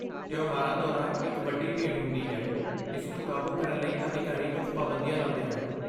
ਤਿਉਹਾਰਾਂ ਦੌਰਾਨ, ਇੱਕ ਵੱਡੀ ਭੀੜ ਹੁੰਦੀ ਹੈ, ਇਸ ਨੂੰ ਕਾਬੂ ਕਰਨ ਲਈ ਅਧਿਕਾਰੀ ਕੁਝ ਪਾਬੰਦੀਆਂ ਲਾਉਂਦੇ ਹਨ।